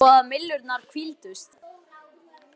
Það var logn, svo að myllurnar hvíldust.